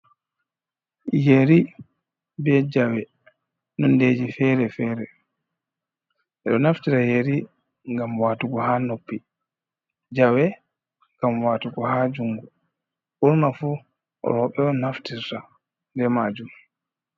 Yeri be Jawe, Nondeji feji fere fere ɗo naftira yeri ngam watugo ha noppi. Jawe ngam watugo ha jungu ɓurna fu rowɓe on naftita be majum.